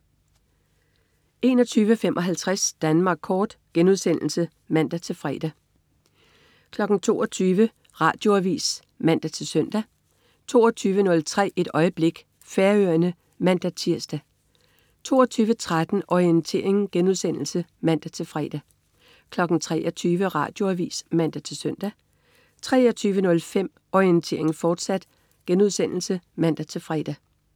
21.55 Danmark Kort* (man-fre) 22.00 Radioavis (man-søn) 22.03 Et øjeblik. Færøerne (man-tirs) 22.13 Orientering* (man-fre) 23.00 Radioavis (man-søn) 23.05 Orientering, fortsat* (man-fre)